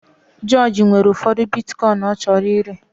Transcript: George nwere ụfọdụ Bitikoin ọ chọrọ ire